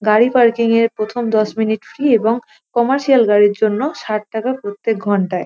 গাড়ি পারকিং -এর প্রথম দশ মিনিট ফ্রী এবং কমার্শিয়াল গাড়ির জন্য ষাট টাকা প্রত্যেক ঘণ্টায় ।